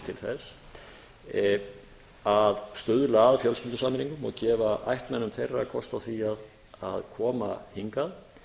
til þess að stuðla að fjölskyldusameiningum og gefa ættmennum þeirra kost á því að koma hingað